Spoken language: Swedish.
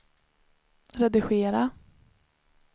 redigera